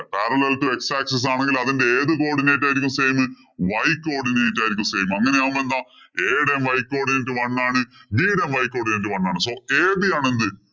Parallel to x axis ആണെങ്കില്‍ അതിന്‍റെ ഏതു codinate ആയിരിക്കും same. Y codinate ആയിരിക്കും same. അങ്ങനെ ആവുമ്പം എന്താ a യുടെ y codinate one ആണ്. B യുടേം y codinate one ആണ്. So AB ആണ് എന്ത്?